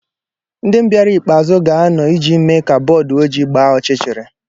Ndị bịara ikpe azụ ga-anọ iji mee ka bọọdụ ojii gbaa ọchịchịrị.